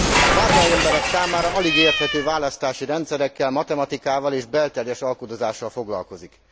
Az átlagemberek számára alig érthető választási rendszerekkel, matematikával és belterjes alkudozással foglalkozik.